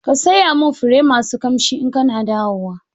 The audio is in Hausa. Ka saya min fure masu kamshi in kana dawowa